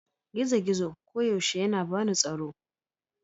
gizo-gizo koyaushe yana bani tsaro